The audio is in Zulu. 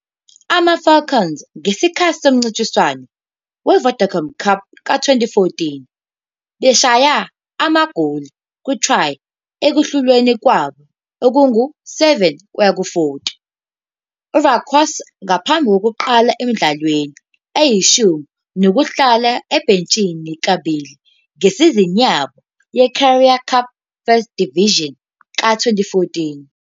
Ama-Falcons ngesikhathi somncintiswano we-Vodacom Cup ka-2014, beshaya amagoli ku-try ekuhlulweni kwabo okungu-7-40 kuya UGriquas, ngaphambi kokuqala emidlalweni eyishumi nokudlala ebhentshini kabili ngesizini yabo yeCurrie Cup First Division ka-2014.